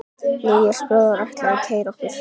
Níels bróðir ætlar að keyra okkur.